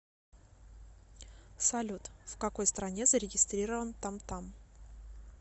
салют в какой стране зарегистрирован тамтам